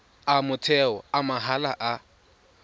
a motheo a mahala a